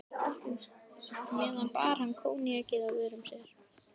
meðan bar hann koníakið að vörum sér.